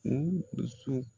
U dusu